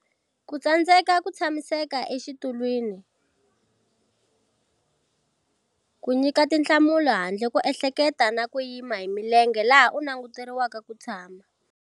Ku tsandzeka ku tshamiseka exitulwini ku nyika tinhlamulo handle ko ehleketa na ku yima hi milenge laha u languteriweke ku tshama.